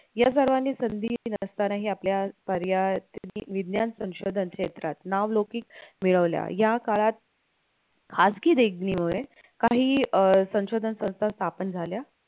या सर्वानि संधी दिली नसतानाही आपल्या पर्यायतेने विज्ञान संशोधन क्षेत्रात नाव लौकिक मिळवला या काळात खाजगी देगणीवर काही अं संशोधन संस्था स्थापन झाल्या.